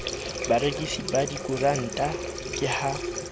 barekisi ba dikoranta ke ha